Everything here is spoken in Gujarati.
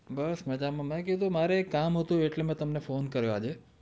બસ મજામાં મેં કીધું મારે એક કામ હતું એટલે મેં તમને ફોને કરીયો આજે